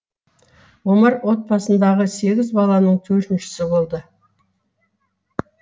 омар отбасындағы сегіз баланың төртіншісі болды